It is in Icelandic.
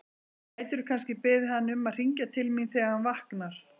Gætirðu kannski beðið hann um að hringja til mín þegar hann vaknar?